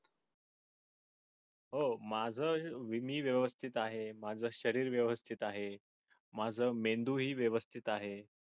हो माझे मी व्यवस्तीत आहे माझ शरीर व्यवस्थित आहे माझ मेंदूही व्यवस्थित आहे.